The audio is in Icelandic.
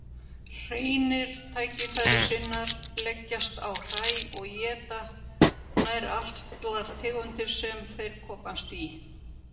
Hreinir tækifærissinnar leggjast á hræ og éta nær allar tegundir sem þeir komast í.